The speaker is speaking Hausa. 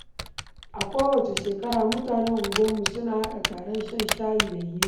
A kowace shekara, mutanen unguwarmu suna haɗa taron shan shayi da hira.